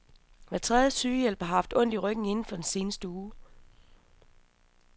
Hver tredje sygehjælper har haft ondt i ryggen inden for den seneste uge.